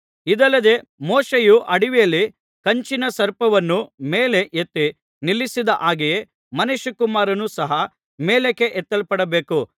ಇದಲ್ಲದೆ ಮೋಶೆಯು ಅಡವಿಯಲ್ಲಿ ಕಂಚಿನ ಸರ್ಪವನ್ನು ಮೇಲೆ ಎತ್ತಿ ನಿಲ್ಲಿಸಿದ ಹಾಗೆಯೇ ಮನುಷ್ಯಕುಮಾರನು ಸಹ ಮೇಲಕ್ಕೆ ಎತ್ತಲ್ಪಡಬೇಕು